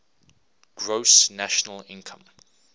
gross national income